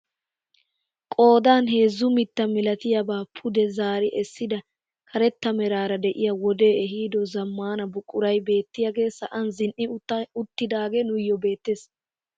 Qoodan heezzu mitta milatiyaaba pude zaari essida karetta meraara de'iyaa wodee ehido zammaana buquray beetiyaage sa'an zin"i uttidagee nuuyo beettees.